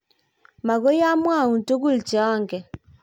Mokoi amwaun togul che angen.